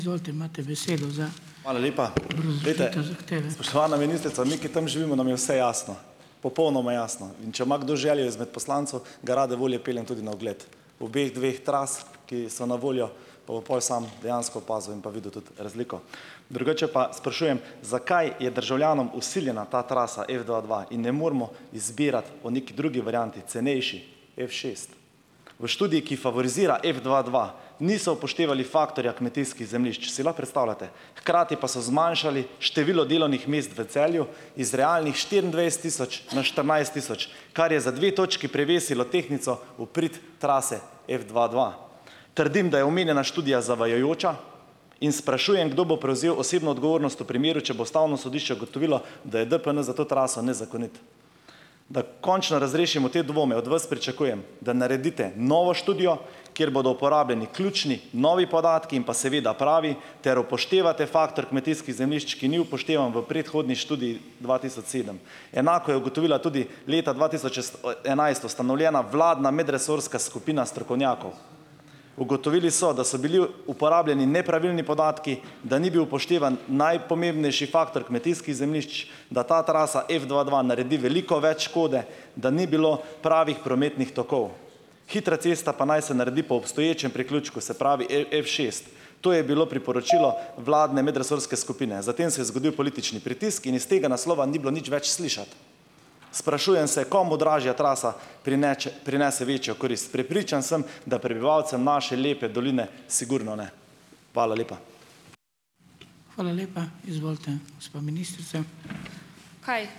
Spoštovana ministrica, mi, ki tam živimo, nam je vse jasno, popolnoma jasno, in če ima kdo želje izmed poslancev, ga rade volje peljem tudi na ogled obeh dveh tras, ki so na voljo, pa bo pol sam dejansko opazil in pa videl tudi razliko. Drugače pa sprašujem: Zakaj je državljanom vsiljena ta trasa f dva dva in ne moremo izbirati po neki drugi varianti, cenejši, f šest? V študiji, ki favorizira f dva dva, niso upoštevali faktorja kmetijskih zemljišč. Si lahko predstavljate. Hkrati pa so zmanjšali število delovnih mest v Celju, iz realnih štiriindvajset tisoč na štirinajst tisoč, kar je za dve točki prevesilo tehtnico v prid trase f dva dva. Trdim, da je omenjena študija zavajajoča in sprašujem, kdo bo prevzel osebno odgovornost v primeru, če bo Ustavno sodišče ugotovilo, da je DPN za to traso nezakonit, da končno razrešimo te dvome, od vas pričakujem, da naredite novo študijo, kjer bodo uporabljeni ključni novi podatki, in pa seveda pravi, ter upoštevate faktor kmetijskih zemljišč, ki ni upoštevan v predhodni študiji dva tisoč sedem. Enako je ugotovila tudi leta dva tisoč enajst ustanovljena vladna medresorska skupina strokovnjakov. Ugotovili so, da so bili uporabljeni nepravilni podatki, da ni bil upoštevan najpomembnejši faktor kmetijskih zemljišč, da ta trasa f dva dva naredi veliko več škode, da ni bilo pravih prometnih tokov. Hitra cesta pa naj se naredi po obstoječem priključku, se pravi, f šest. To je bilo priporočilo vladne medresorske skupine. Zatem se je zgodil politični pritisk in iz tega naslova ni bilo nič več slišati. Sprašujem se, komu dražja trasa prineče prinese večjo korist? Prepričan sem, da prebivalcem naše lepe doline sigurno ne. Hvala lepa.